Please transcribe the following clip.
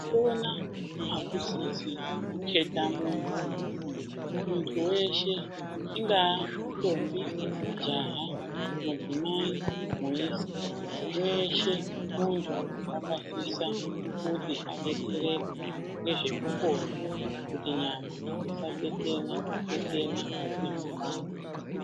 Kupona akusisi kuketa muntu , muntu weshe ingaa ndombi, jaha, midzimai, muisa weshe muntu wakasisa kuti adetsereke ngezvekupona kuti nyama isatetena tetena nekupanda.